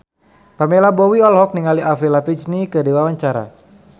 Pamela Bowie olohok ningali Avril Lavigne keur diwawancara